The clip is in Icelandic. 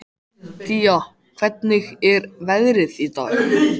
Día, hvernig er veðrið í dag?